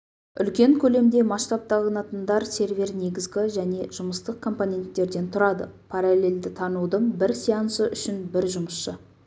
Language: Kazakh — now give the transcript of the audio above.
үлкен көлемде масштабталынатындар сервер негізгі және жұмыстық компоненттерден тұрады параллельді танудың бір сеансы үшін бір жұмысшы